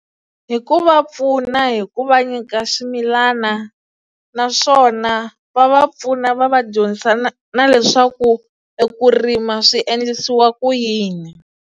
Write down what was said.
Hi ku va pfuna hi ku va nyika swimilana naswona va va pfuna va va dyondzisa na na leswaku eku rima swi endlisiwa ku yini.